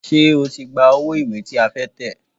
Ṣé o ti gba owó ìwé tí a fẹ́ tẹ̀?